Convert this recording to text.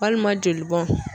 Walima jolibɔn.